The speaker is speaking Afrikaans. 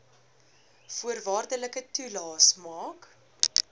voorwaardelike toelaes maak